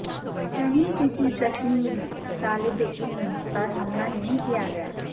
کہیں کسی کشمیری طالب علم پر حملہ نہیں کیا گیا